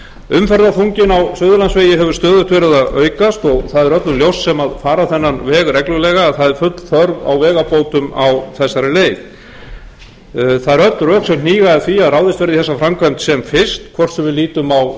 umferðarþunginn á suðurlandsvegi hefur stöðugt verið að aukast og það er öllum ljóst sem fara þennan veg reglulega að það er full þörf á vegabótum á þessari leið það eru öll rök sem hníga að því að ráðist verði í þessa framkvæmd sem fyrst hvort sem